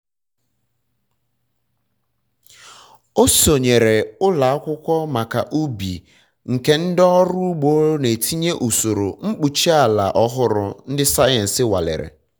ọ sonyeere ụlọ akwụkwọ maka ubi nke ndị ọrụ ugbo na-etinye usoro mkpuchi ala ọhụrụ ndị sayensi nwalere